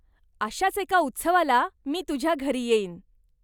अशाच एका उत्सवाला मी तुझ्या घरी येईन.